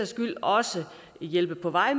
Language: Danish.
skyld også hjælpe på vej